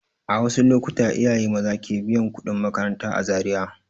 A wasu lokuta iyaye maza ke biyan kuɗin makaranta a Zariya.